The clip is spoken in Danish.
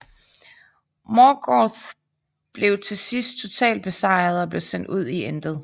Morgoth blev til sidst totalt besejret og blev sendt ud i intet